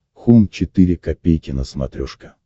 хоум четыре ка на смотрешке